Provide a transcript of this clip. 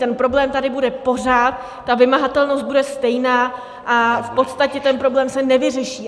Ten problém tady bude pořád, ta vymahatelnost bude stejná a v podstatě ten problém se nevyřeší.